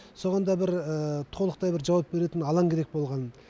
соған да бір толықтай бір жауап беретін алаң керек болған